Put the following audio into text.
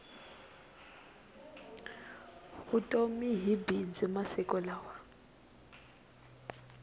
vutomi hi bindzu masiku lawa